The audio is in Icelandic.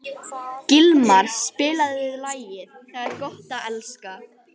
Gilmar, spilaðu lagið „Það er gott að elska“.